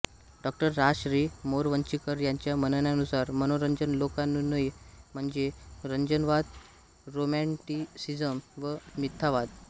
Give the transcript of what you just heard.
डॉ रा श्री मोरवंचीकर यांच्या म्हणण्यानुसार मनोरंजन लोकानुनय म्हणजे रंजनवाद रोमॅन्टिसिझम व मिथ्यावाद